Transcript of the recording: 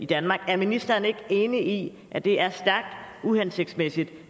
danmark er ministeren ikke enig i at det er stærkt uhensigtsmæssigt